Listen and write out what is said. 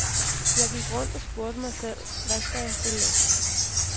Jeg gik rundt og spurgte mig selv , hvad skal jeg stille op.